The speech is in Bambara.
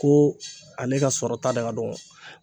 Ko ale ka sɔrɔta de ka dɔgɔ.